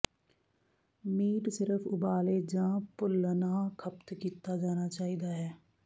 meat ਸਿਰਫ ਉਬਾਲੇ ਜ ਭੁੰਲਨਆ ਖਪਤ ਕੀਤਾ ਜਾਣਾ ਚਾਹੀਦਾ ਹੈ